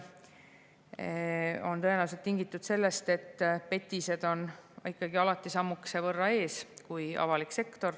See on tõenäoliselt tingitud sellest, et petised on ikkagi alati sammukese võrra ees kui avalik sektor.